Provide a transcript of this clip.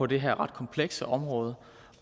det her ret komplekse område